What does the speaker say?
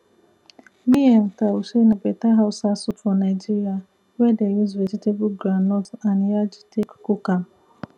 miyan taushe na better hausa soup for nigeria wey dey use vegetable groundnut and yaji take cook am